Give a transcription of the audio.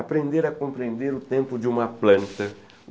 Aprender a compreender o tempo de uma planta.